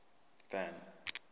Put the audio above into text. van